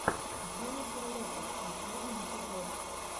дженнифер лопез последний эпизод